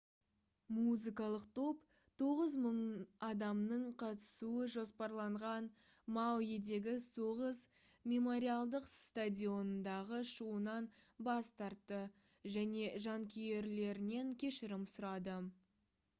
музыкалық топ 9000 адамның қатысуы жоспарланған мауидегі соғыс мемориалдық стадионындағы шоуынан бас тартты және жанкүйерлерінен кешірім сұрады